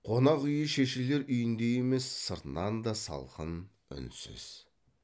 қонақ үйі шешелер үйіндей емес сыртынан да салқын үнсіз